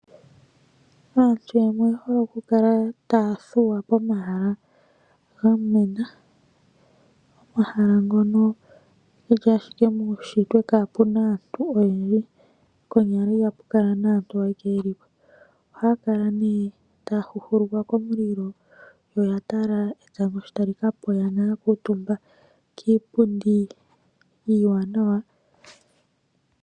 Aantu yamwe oye hole okukala taya thuwa pomahala gamwena. Omahala ngono geli ashike muushitwe kaapuna aantu oyendji, konyala ihapu kala naantu oyo ayeke yeli po. Ohaya kala nee taya huhulukwa komulilo yo ya tala etango sho tali kapa oyana yakuutumba kiipundi iiwanawa.